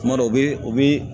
Kuma dɔw u bi u bi